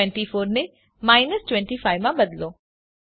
24 ને ઓછા 25 માં બદલો